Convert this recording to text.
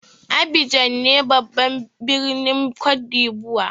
Abidjan ne babban birnin côte d'lvoire.